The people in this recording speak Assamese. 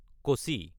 কচি